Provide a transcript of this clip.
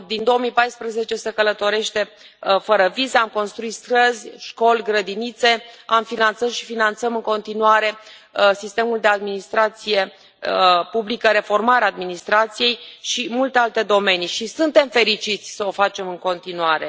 Din 2014 se călătorește fără vize, am construit străzi, școli, grădinițe, am finanțat și finanțăm în continuare sistemul de administrație publică, reformarea administrației și multe alte domenii și suntem fericiți să o facem în continuare.